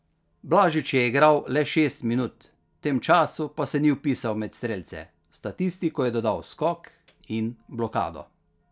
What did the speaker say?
Blažič je igral le šest minut, v tem času pa se ni vpisal med strelce, v statistiko je dodal skok in blokado.